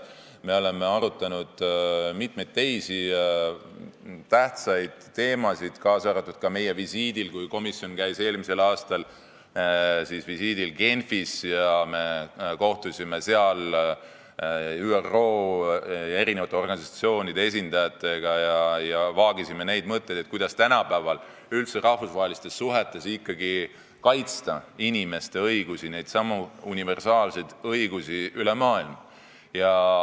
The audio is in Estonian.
Me oleme arutanud mitmeid teisi tähtsaid teemasid, kaasa arvatud siis, kui me käisime eelmisel aastal visiidil Genfis, kohtusime seal ÜRO organisatsioonide esindajatega ja vaagisime neid mõtteid, kuidas tänapäeval rahvusvahelistes suhetes ikkagi üle maailma kaitsta inimeste õigusi, neidsamu universaalseid õigusi.